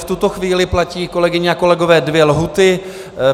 V tuto chvíli platí, kolegyně a kolegové, dvě lhůty.